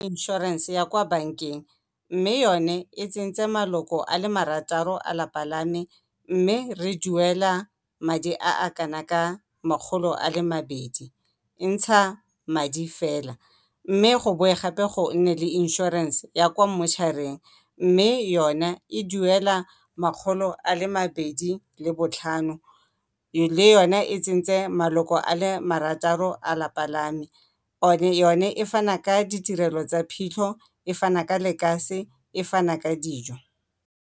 Inšorense ya kwa bankeng mme yone e tsentse maloko a le marataro a lapa la me, mme re duela madi a a kana ka makgolo a le mabedi. E ntsha madi fela mme go boe gape go nne le inšorense ya kwa mmošareng mme yone e duela makgolo a le mabedi le botlhano, le yone e tsentse maloko a le marataro a lelapa la me yone e fana ka ditirelo tsa phitlho, e fana ka lekase, e fana ka dijo.